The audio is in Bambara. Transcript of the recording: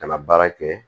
Ka na baara kɛ